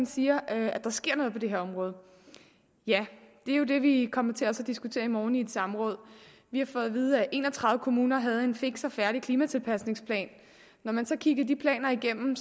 siger at der sker noget på det her område ja det er jo det vi også kommer til at diskutere i morgen i et samråd vi har fået at vide at en og tredive kommuner havde en fiks og færdig klimatilpasningsplan når man så kiggede de planer igennem